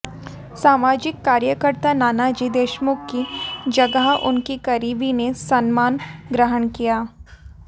समाजिक कार्यकर्ता नानाजी देशमुख की जगह उनके करीबी ने सम्मान ग्रहण किया